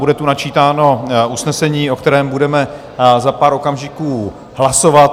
Bude tu načítáno usnesení, o kterém budeme za pár okamžiků hlasovat.